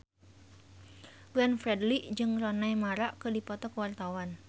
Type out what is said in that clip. Glenn Fredly jeung Rooney Mara keur dipoto ku wartawan